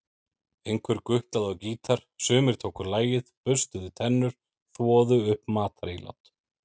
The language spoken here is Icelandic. Einhver gutlaði á gítar, sumir tóku lagið, burstuðu tennur, þvoðu upp matarílát.